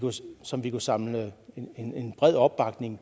som vi kunne samle bred opbakning